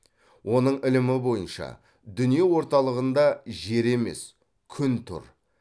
оның ілімі бойынша дүние орталығынде жер емес күн тұр